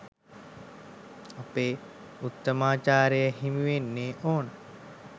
අපේ උත්තමාචාරය හිමිවෙන්න ඕන.